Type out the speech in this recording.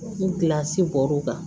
N kilasi bɔr'o kan